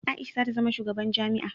Aisha zata zama shugaban jami'a